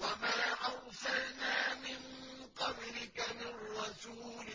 وَمَا أَرْسَلْنَا مِن قَبْلِكَ مِن رَّسُولٍ